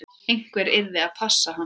Einhver yrði að passa hann.